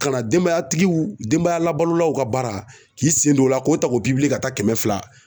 Kana denbayatigiw denbaya labalolaw ka baara k'i sen don o la k'o ta k'o ka taa kɛmɛ fila